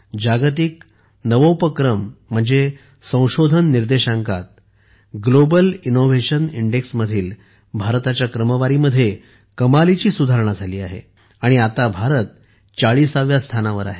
जागतिक नवोपक्रमसंशोधन निर्देशांकात ग्लोबल इनोव्हेशन इंडेक्समधील भारताच्या क्रमवारीमध्ये कमालीची सुधारणा झाली आहे आणि आता भारत 40 व्या स्थानावर आहे